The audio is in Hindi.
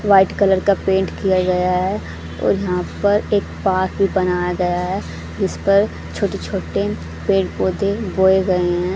व्हाइट कलर का पेंट किया गया है और यहां पर एक पार्क भी बनाया गया है जिस पर छोटे छोटे पेड़ पौधे बोए गए हैं।